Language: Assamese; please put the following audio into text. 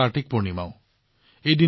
সেই দিনা কাৰ্তিক পূৰ্ণিমাও